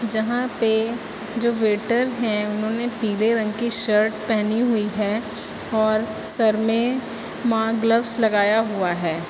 जहां पे जो वेटर है उन्होंने पीले रंग की शर्ट पहनी हुई है और सर में मा ग्लब्स लगाया हुआ है।